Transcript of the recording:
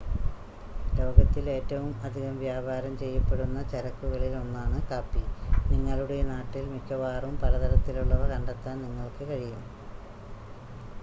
ലോകത്തിൽ ഏറ്റവും അധികം വ്യാപാരം ചെയ്യപ്പെടുന്ന ചരക്കുകളിൽ ഒന്നാണ് കാപ്പി നിങ്ങളുടെ നാട്ടിൽ മിക്കവാറും പല തരത്തിലുള്ളവ കണ്ടെത്താൻ നിങ്ങൾക്ക് കഴിയും